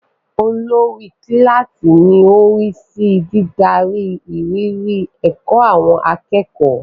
Olórí kíláàsì ni ó ń rí sí dídarí ìrírí ẹ̀kọ́ àwọn akẹ́kọ̀ọ́.